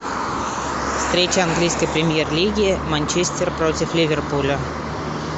встреча английской премьер лиги манчестер против ливерпуля